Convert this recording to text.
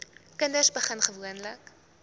kinders begin gewoonlik